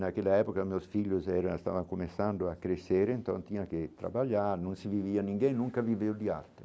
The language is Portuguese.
Naquela época meus filhos eram, estavam começando a crescerem, então tinha que trabalhar, não se vivia ninguém, nunca viveu de arte.